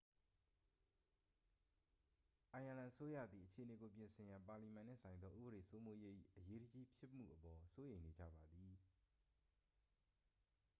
အိုင်းယာလန်အစိုးရသည် အခြေအနေကို ပြင်ဆင်ရန် ပါလီမန်နှင့်ဆိုင်သော ဥပဒေစိုးမိုးရေး၏ အရေးတကြီးဖြစ်မှုအပေါ် စိုးရိမ်နေကြပါသည်